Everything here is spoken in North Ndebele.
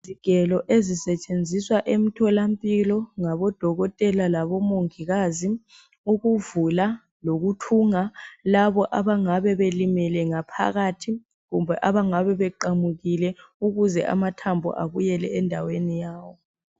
Izigelo ezisetsheziswa emtholampilo ngabodokotela labomongikazi ukuvula lokuthunga labo abangabe belimele ngaphakathi kumbe abangabe beqamukile ukuze amathambo abuyele endaweni yawo.